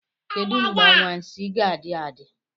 Kedu mgbe anwansi ga-adị adị?